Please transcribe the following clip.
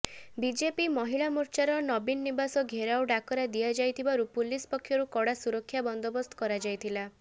BJP ମହିଳା ମୋର୍ଚ୍ଚାର ନବୀନ ନିବାସ ଘେରାଉ ଡାକରା ଦିଆଯାଇଥିବାରୁ ପୁଲିସ ପକ୍ଷରୁ କଡ଼ା ସୁରକ୍ଷା ବନ୍ଦୋବସ୍ତ କରାଯାଇଥିଲା